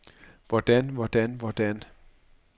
hvordan hvordan hvordan